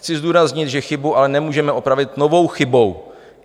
Chci zdůraznit, že chybu ale nemůžeme opravit novou chybou.